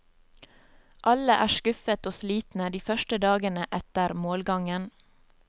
Alle er skuffet og slitne de første dagene etter målgangen.